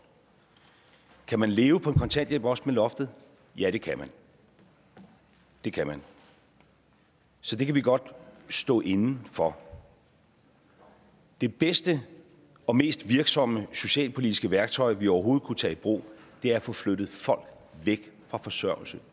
kan man leve på en kontanthjælp også med loftet ja det kan det kan man så det kan vi godt stå inde for det bedste og mest virksomme socialpolitiske værktøj vi overhovedet kan tage i brug er at få flyttet folk væk fra forsørgelse